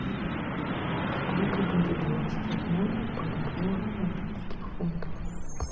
сколько будет двадцать одна бальбоа в английских фунтах